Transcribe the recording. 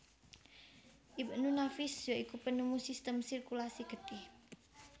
Ibnu Nafis ya iku penemu sistem sirkulasi getih